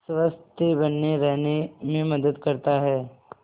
स्वस्थ्य बने रहने में मदद करता है